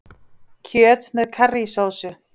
Kjöt með karrísósu